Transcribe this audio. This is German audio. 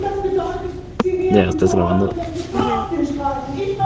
Das bedeutet Sie werden zur rollenden Gefahr auf den Straßen!